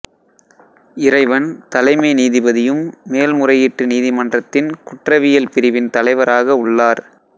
இறைவன் தலைமை நீதிபதியும் மேல்முறையீட்டு நீதிமன்றத்தின் குற்றவியல் பிரிவின் தலைவராக உள்ளார்